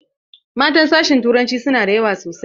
Matan sashin turanci sunada yawa sosai.